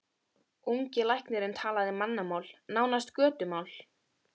Ungi læknirinn talaði mannamál, nánast götumál.